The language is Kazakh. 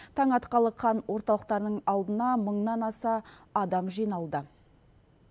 таң атқалы қан орталықтарының алдына мыңнан аса адам жиналды